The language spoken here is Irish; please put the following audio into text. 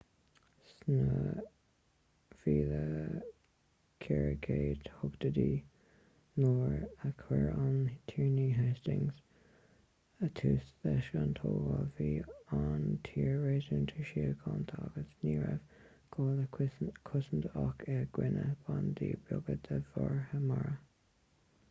sna 1480idí nuair a chuir an tiarna hastings tús leis an tógáil bhí an tír réasúnta síochánta agus ní raibh gá le cosaint ach i gcoinne bandaí beaga de mharaithe mara